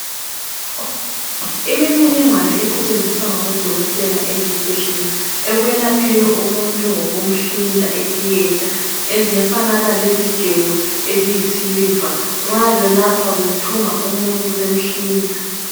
Imininingwane esetshenziswa ngabodokotela esibhedlela ekwelapheni umuntu ngokumhlinza etheatre ezifanana lezigelo eziyisiliva nxa belapha bethunga umuntu bemhlinza.